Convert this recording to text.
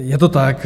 Je to tak.